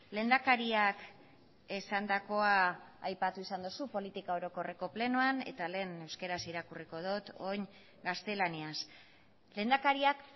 lehendakariak esandakoa aipatu izan duzu politika orokorreko plenoan eta lehen euskaraz irakurri dut eta orain gaztelaniaz lehendakariak